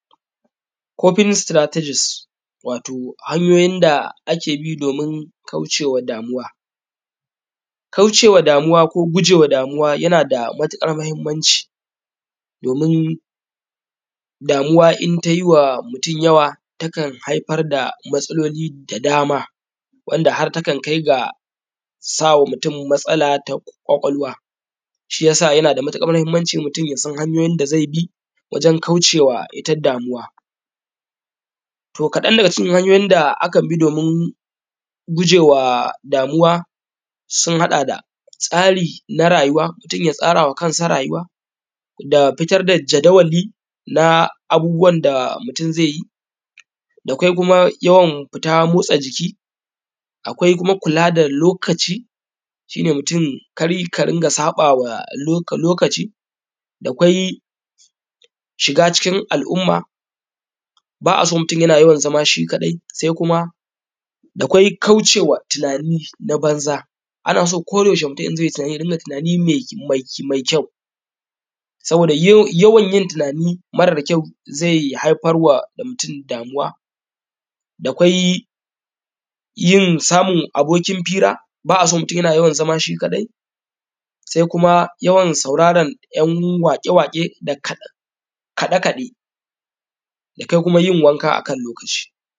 Kofinis sitaratajis wato hanyoyin da ake bin domin kaucewa damuwa. Kaucewa damuwa ko gujewa damuwa yana da matuƙar mahimmanci domin damuwa in tayiwa mutum yawa takan haifar da matsaloli da dama, wanda har takan kai ga samarwa mutum matsala ta kwakwalwa, shiya sa yana da matuƙar muhimmanci mutum yasan hanyoyin da zai bi wajen kaucewa ita damuwa. To kadan daga cikin hanyoyin da akan bi domin gujewa damuwa sun haɗa da tsari na rayuwa, mutum ya tsare wa kansa rayuwa da fitar da jadawali na abubuwan da mutum zai yi da kwai kuma yawan fita motsa jiki akwai kuma kula da lokaci shi ne mutum kar ka rinƙa sabawa lokaci da kwai shiga cikin al’umma ba a son mutum yana yawan zama shi kadai sai kuma, da kwai kaucewa tunani na banza ana so koda yaushe mutum in zai yi tunani ya ringa tunani mai kyau, saboda yawan yin tunani tunani ya ringa tunani mai kyau, saboda yawan yin tunani mara kyau zai haifarwa da mutum damuwa. Da kwai yin samun abokin hira ba’a so mutum yana yawan zama shi kaɗai sai kuma yawan sauraran ‘yan waƙe waƙe da kaɗe kaɗe da kwai kuma yin wanka akan lokaci.